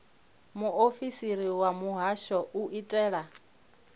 muofisiri wa muhasho u itela